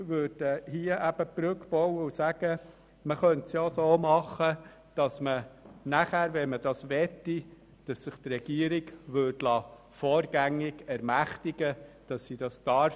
Insofern bauen wir hier eine Brücke und sagen, dass man grundsätzlich verkaufen könnte, sich die Regierung aber vorrangig dazu ermächtigen lassen müsste.